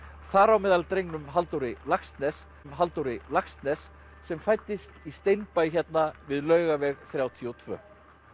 þar á meðal drengnum Halldóri Laxness Halldóri Laxness sem fæddist í hérna við Laugaveg þrjátíu og tvö